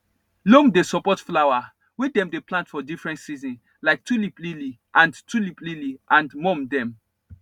loam dey support flower wey dem dey plant for different season like tulip lily and tulip lily and mum dem